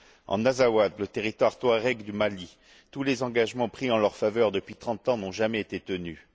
En Azawad, le territoire touareg du Mali, tous les engagements pris en leur faveur depuis trente ans n'ont jamais été tenus.